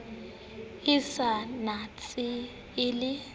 e sa ntsane e le